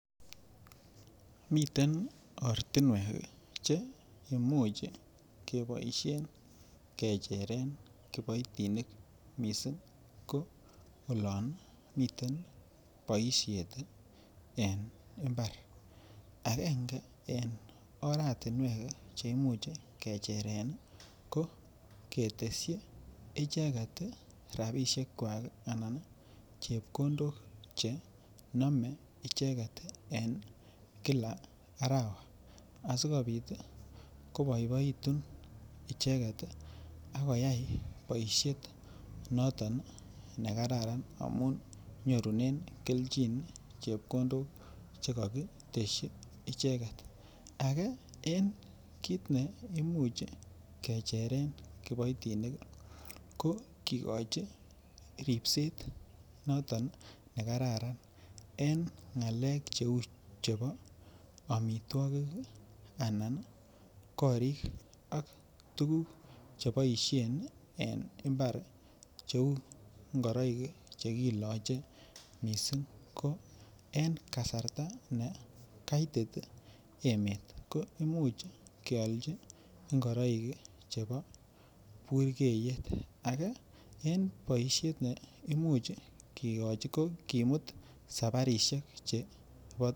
Miten ortinwek ii che imuch keboishen kecheren kiboitinik missing ko olon miten boishet en imbar angenge en oratinwek che imuch koecheren ii ko ketesyi icheget rabishekwak anan chepkondok che nome icheget ii en Kila arawa, asikopit ii koboiboitun icheget ii ak koyay boishet noton ne kararan amun nyorunen kelchin chepkondok che kokitesyi icheget. Agee en kit neimuch kecheren kiboitinik ii ko kigochi ribset noton ne kararan en ngalek che uu chebo omitwokik anan korik ak tuguk che boishen en imbar che uu ngoroik che kiloche missing ko en kasarta ne kaitit emet ko imuch keolji ngoroik chebo burgeyet. Age en boishet nebo imuch kigochi ko kimut sabarishek chebo